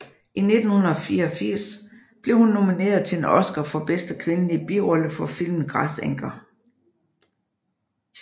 I 1984 blev hun nomineret til en Oscar for bedste kvindelige birolle for filmen Græsenker